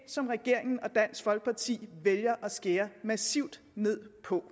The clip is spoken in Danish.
som regeringen og dansk folkeparti vælger at skære massivt ned på